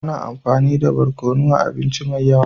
Ana amfani nmda barkonu a abinci da yawa.